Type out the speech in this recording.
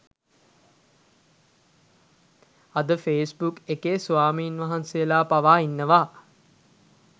අද ෆේබුක් එකේ ස්වාමීන්වහ්න්සේලා පවා ඉන්නවා